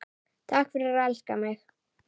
Takk fyrir að elska mig.